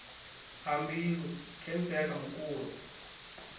ha mbilu khentsa ya khamukulo